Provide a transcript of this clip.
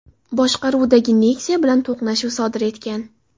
boshqaruvidagi Nexia bilan to‘qnashuv sodir etgan.